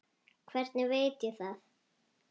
Hvernig veit ég það?